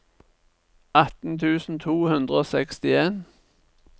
atten tusen to hundre og sekstien